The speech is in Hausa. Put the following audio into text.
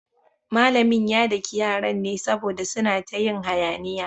Malamin ya daki yaran ne saboda suna ta yin hayaniya.